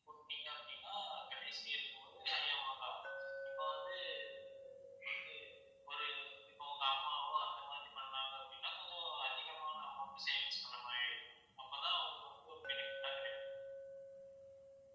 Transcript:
கூட்டுனீங்க அப்படின்னா கடைசி இருக்கும்போது high amount ஆகும் இப்ப வந்து வந்து ஒரு இப்ப உங்க அம்மாவோ அந்த மாதிரி பண்ணாங்க அப்படின்னா கொஞ்சம் அதிகமா amount savings பண்ண மாதிரி இருக்கும் அப்பதான் அவங்களுக்கு வந்து ஒரு benefit ஆ கிடைக்கும்